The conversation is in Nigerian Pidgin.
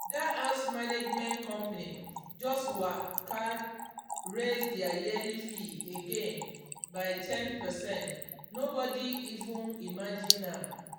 that house management company just waka raise their yearly fee again by ten percent nobody even imagine am.